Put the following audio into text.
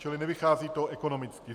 Čili nevychází to ekonomicky.